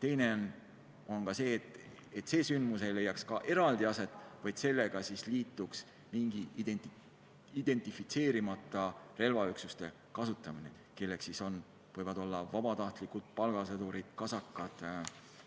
Teine on see, et ei leia aset mingi üks eraldi sündmus, vaid sellega kaasneb mingi identifitseerimata relvaüksuste kasutamine, kelleks võivad olla vabatahtlikud palgasõdurid, kasakad